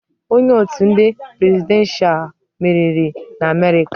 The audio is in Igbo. Onye otu ndị presidenshal meriri n'Amerịka.